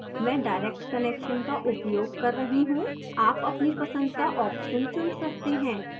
मैं direct connection का उपयोग कर रहा हूँ